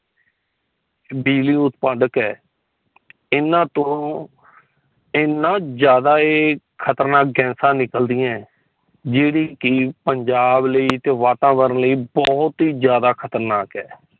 ਬਿਜਲੀ ਉਤਦਾਪਕ ਹੈ ਇਨ੍ਹਾਂ ਤੋਂ ਇਨ੍ਹਾਂ ਜਾਂਦਾ ਏ ਖਤਰਨਾਕ ਗੈਸਾਂ ਨਿਕਲਦਿਆਂ ਜੇੜੀ ਕਿ ਪੰਜਾਬ ਲਈ ਵਾਤਾਵਰਨ ਲਈ ਬਹੁਤ ਹੀ ਜਾਂਦਾ ਖਤਰਨਾਕ ਹੈ।